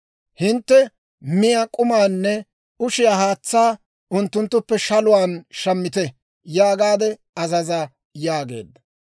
Hintte miyaa k'umaanne ushiyaa haatsaa, unttunttuppe shaluwaan shammite yaagaade azaza» yaageedda.